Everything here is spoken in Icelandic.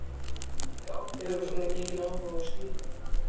Hefur þú svona mikinn áhuga á skipum?